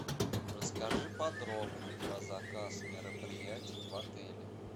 расскажи подробно про заказ мероприятий в отеле